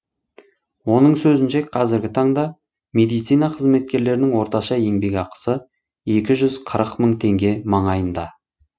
оның сөзінше қазіргі таңда медицина қызметкерлерінің орташа еңбек ақысы екі жүз қырық мың теңге маңайында